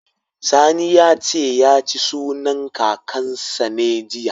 Sani ya ce, ya ci sunan Kakansa ne, jiya.